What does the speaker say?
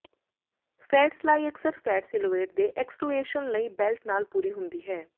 fat style ਅਕਸਰ fat silhouette ਦੇ accentuation ਲਈ ਬੈਲਟ ਨਾਲ ਪੂਰੀ ਹੁੰਦੀ ਹੈ